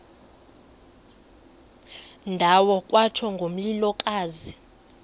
ndawo kwatsho ngomlilokazi